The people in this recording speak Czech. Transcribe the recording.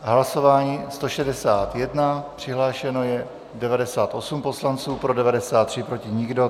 Hlasování 161, přihlášeno je 98 poslanců, pro 93, proti nikdo.